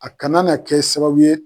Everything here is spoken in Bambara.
A kana na kɛ sababu ye.